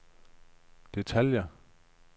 detaljer